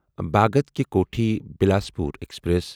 Bhagat ki Kothi Bilaspur express